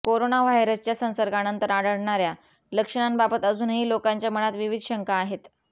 corona व्हायरसच्या संसर्गानंतर आढळणाऱ्या लक्षणांबाबत अजूनही लोकांच्या मनात विविध शंका आहेत